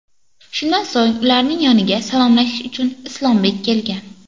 Shundan so‘ng ularning yoniga salomlashish uchun Islombek kelgan.